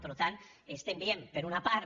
per tant estem dient per una part